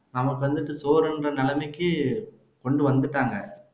நமக்கு வந்துட்டு சோறுன்ற நிலைமைக்கு கொண்டு வந்துட்டாங்க